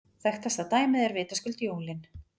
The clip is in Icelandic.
Þekktasta dæmið er vitaskuld jólin.